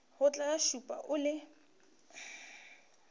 tla go šupa o le